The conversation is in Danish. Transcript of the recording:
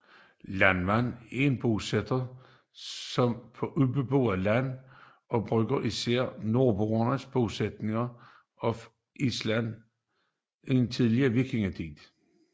Landnam er at bosætte sig på ubeboet land og bruges især om nordboernes bosættelse af Island i tidlig vikingetid